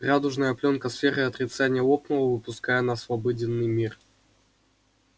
радужная плёнка сферы отрицания лопнула выпуская нас в обыденный мир